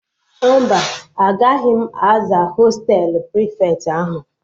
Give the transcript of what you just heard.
Mba, agaghị m aza hostelu prịfeti ahụ